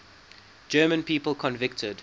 german people convicted